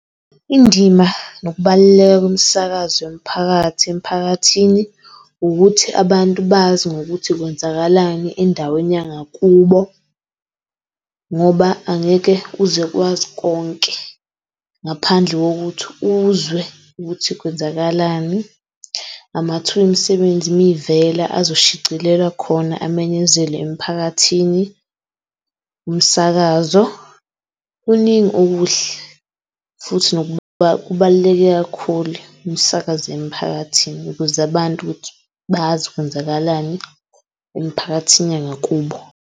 Indima nokubaluleka komsakazo yomphakathi emphakathini ukuthi abantu bazi ngokuthi kwenzakalani endaweni yangakubo ngoba angeke uze kwazi konke ngaphandle kokuthi uzwe ukuthi kwenzakalani. Amathuba emisebenzi uma ivela azo shicilelwa khona amenyezelwe emphakathini. Umsakazo kuningi okuhle futhi ngoba ubaluleke kakhulu umsakazo emphakathini ukuze abantu ukuthi bazi kwenzakalani emiphakathini nyangakubo